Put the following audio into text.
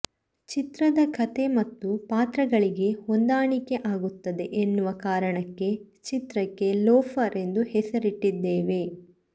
ಚಿತ್ರದ ಕಥೆ ಮತ್ತು ಪಾತ್ರಗಳಿಗೆ ಹೊಂದಾಣಿಕೆ ಆಗುತ್ತದೆ ಎನ್ನುವ ಕಾರಣಕ್ಕೆ ಚಿತ್ರಕ್ಕೆ ಲೋಫರ್ ಎಂದು ಹೆಸರಿಟ್ಟಿದ್ದೇವೆ